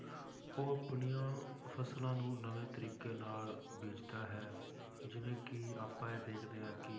ਉਹ ਆਪਣੀਆਂ ਫਸਲਾਂ ਨੂੰ ਨਵੇਂ ਤਰੀਕੇ ਨਾਲ ਬੀਜਦਾ ਹੈ ਜਿਵੇਂ ਕਿ ਆਪਾਂ ਇਹ ਦੇਖਦੇ ਹਾਂ ਕਿ